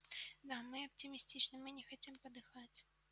да мы оптимистичны мы не хотим подыхать